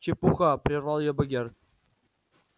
чепуха прервал её богерт